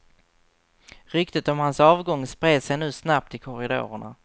Ryktet om hans avgång spred sig nu snabbt i korridorerna.